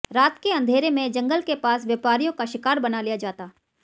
रात के अँधेरे में जंगल के पास व्यापारियों का शिकार बना लिया जाता